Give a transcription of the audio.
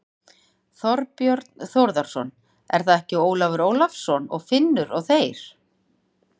Þorbjörn Þórðarson: Er það ekki Ólafur Ólafsson og Finnur og þeir?